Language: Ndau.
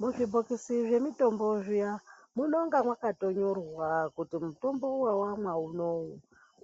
Muzvibhokisi zvemitombo zviya munenge makatonyorwa kuti mutombo wawamwa unowu